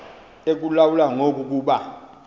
ekulawula ngoku kuba